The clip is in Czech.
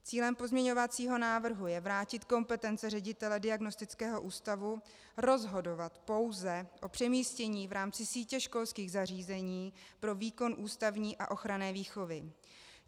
Cílem pozměňovacího návrhu je vrátit kompetence ředitele diagnostického ústavu rozhodovat pouze o přemístění v rámci sítě školských zařízení pro výkon ústavní a ochranné výchovy.